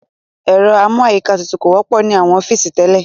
Ẹ̀rọ amú àyíká tutù kò wọ́pọ̀ ní àwọn ọ́fìsì tẹ́lẹ̀.